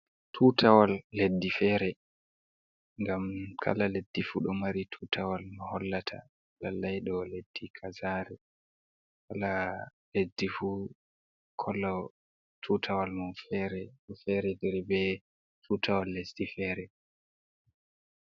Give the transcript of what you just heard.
Tutawal leddi fere ngam kala leddi fu ɗo mari tutawal m ɗum hollata lallai ɗo leddi kazare on kala leddi fu be kolo tutawal mun fere ɗo feretiri be tutawal leddi fere.